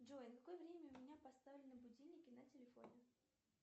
джой на какое время у меня поставлены будильники на телефоне